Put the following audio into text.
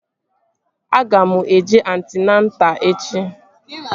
Aga m eje antịnata echi